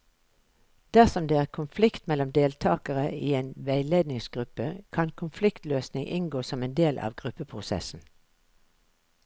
Dersom det er konflikt mellom deltakere i en veiledningsgruppe, kan konfliktløsning inngå som en del av gruppeprosessen.